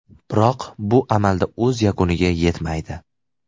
Biroq bu amalda o‘z yakuniga yetmaydi.